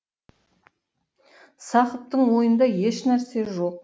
сақыптың ойында еш нәрсе жоқ